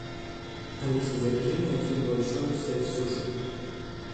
алиса закажи мне один большой сет суши